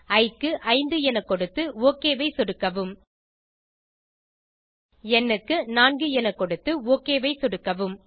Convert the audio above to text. இ க்கு 5 என கொடுத்து ஒக் ஐ சொடுக்கவும் ந் க்கு 4 என கொடுத்து ஒக் ஐ சொடுக்கவும்